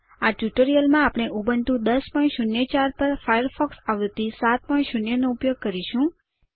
આ ટ્યુટોરીયલમાં આપણે ઉબુન્ટુ 1004 પર ફાયરફોક્સ આવૃત્તિ 70 નો ઉપયોગ કરીશું